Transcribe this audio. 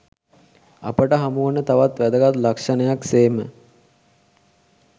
අපට හමුවන තවත් වැදගත් ලක්ෂණයක් සේම